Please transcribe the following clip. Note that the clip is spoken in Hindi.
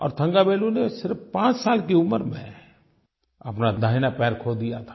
और थन्गावेलु ने सिर्फ़ 5 साल की उम्र में अपना दाहिना पैर खो दिया था